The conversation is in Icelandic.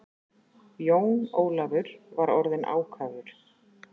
Jón Ólafur var orðinn ákafur.